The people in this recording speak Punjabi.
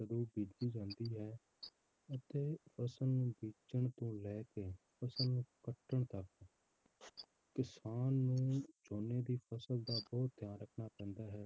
ਸ਼ੁਰੂ ਕੀਤੀ ਜਾਂਦੀ ਹੈ ਅਤੇ ਉਸਨੂੰ ਬੀਜਣ ਤੋਂ ਲੈ ਕੇ ਉਸਨੂੰ ਕੱਟਣ ਤੱਕ ਕਿਸਾਨ ਨੂੰ ਝੋਨੇ ਦੀ ਫਸਲ ਦਾ ਬਹੁਤ ਧਿਆਨ ਰੱਖਣਾ ਪੈਂਦਾ ਹੈ